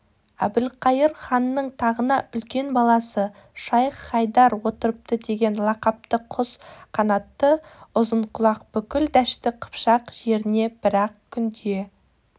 әбілқайыр ханның тағына үлкен баласы шайх-хайдар отырыпты деген лақапты құс қанатты ұзынқұлақ бүкіл дәшті қыпшақ жеріне бір-ақ күнде